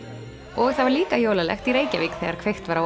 og það var líka jólalegt í Reykjavík þegar kveikt var á